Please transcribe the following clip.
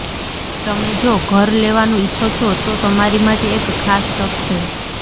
તમે જો ઘર લેવાનું ઇચ્છો છો તો તમારી માટે એક ખાસ તક છે